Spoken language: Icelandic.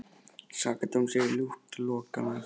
Sakadóms yrði ljúft að loka mig aftur inni.